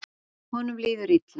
Honum líður illa.